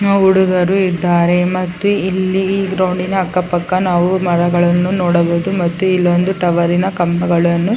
ನ ಹುಡುಗರು ಇದ್ದಾರೆ ಮತ್ತು ಇಲ್ಲಿ ಗ್ರೌಂಡಿನ ಅಕ್ಕಪಕ್ಕ ನಾವು ಮರಗಳನ್ನು ನೋಡಬಹುದು ಮತ್ತು ಇಲ್ಲೊಂದು ಟವರಿನ ಕಂಬಗಳನ್ನು .